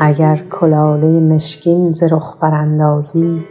اگر کلاله مشکین ز رخ براندازی